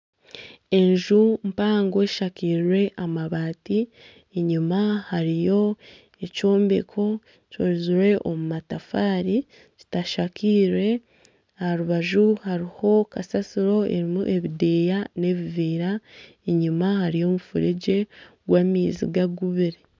Enju mpango eshakirwe amabati enyima hariyo ekyombeko kikozirwe omu matafari kitashakirwe aha rubaju hariho kasasiro erimu ebideya n'ebivera enyima hariyo omufuregye gw'amaizi gagubire.